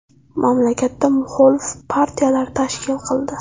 Mamlakatda muxolif partiyalar tashkil qildi.